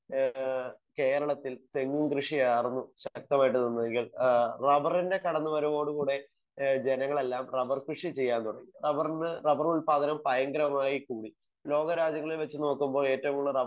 Speaker 1 ഏഹ് കേരളത്തിൽ തെങ്ങ് കൃഷിയാർന്നു ശക്തമായിട്ട് നിന്നതെങ്കിൽ ഏഹ് റബറിൻ്റെ കടന്ന് വരവോട് കൂടെ ഏഹ് ജനങ്ങളെല്ലാം റബർ കൃഷി ചെയ്യാൻ തുടങ്ങി. റബറിന്ന് റബർ ഉൽപ്പാദനവും ഭയങ്കരമായി കൂടി. ലോക രാജ്യങ്ങളിൽ വെച്ച് നോക്കുമ്പോൾ ഏറ്റവും കൂടുതൽ റബർ,